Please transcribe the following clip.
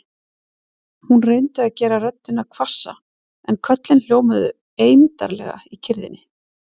Hún reyndi að gera röddina hvassa en köllin hljómuðu eymdarlega í kyrrðinni.